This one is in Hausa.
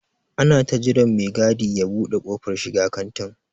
Ana ta jiran me gadi ya ɓude kofar shiga kantin.